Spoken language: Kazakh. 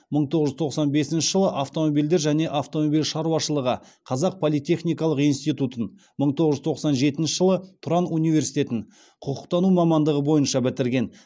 мың тоғыз жүз тоқсан бесінші жылы автомобильдер және автомобиль шаруашылығы қазақ политехникалық институтын мың тоғыз жүз тоқсан жетінші жылы тұран университетін құқықтану мамандығы бойынша бітірген